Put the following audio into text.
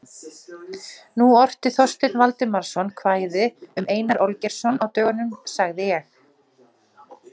Nú orti Þorsteinn Valdimarsson kvæði um Einar Olgeirsson á dögunum, sagði ég.